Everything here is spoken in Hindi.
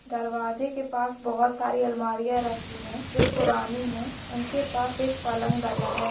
दरवाजे के पास बहुत सारी अलमारियां रखी है जो पुरानी है उनके पास एक पलंग डाला है।